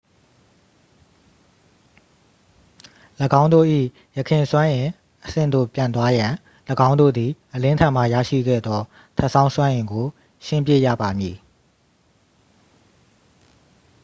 ၎င်းတို့၏ ယခင်စွမ်းအင်အဆင့်သို့ပြန်သွားရန် ၎င်းတို့သည် အလင်းထံမှရရှိခဲ့သော ထပ်ဆောင်းစွမ်းအင်ကို ရှင်းပစ်ရပါမည်